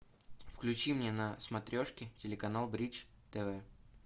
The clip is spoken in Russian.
включи мне на смотрешке телеканал бридж тв